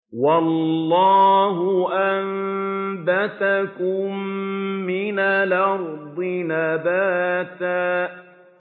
وَاللَّهُ أَنبَتَكُم مِّنَ الْأَرْضِ نَبَاتًا